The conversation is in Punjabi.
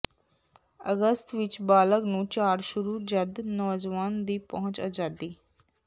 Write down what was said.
ਅਗਸਤ ਵਿਚ ਬਾਲਗ ਨੂੰ ਝਾੜ ਸ਼ੁਰੂ ਜਦ ਨੌਜਵਾਨ ਦੀ ਪਹੁੰਚ ਆਜ਼ਾਦੀ